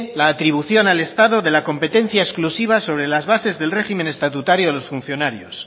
la atribución al estado de la competencia exclusiva sobre las bases del régimen estatutario de los funcionarios